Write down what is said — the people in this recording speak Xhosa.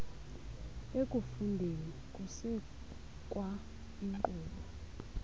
ekufundeni kusekwa iinkqubo